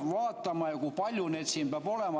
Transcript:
vaatama ja kui palju meid siin peab olema.